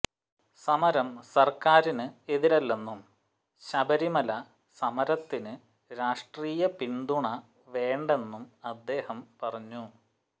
സമരം സർക്കാരിന് എതിരല്ലെന്നും ശബരിമല സമരത്തിന് രാഷ്ട്രീയപിന്തുണ വേണ്ടെന്നും അദ്ദേഹം പറഞ്ഞു